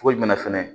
Cogo jumɛn fɛnɛ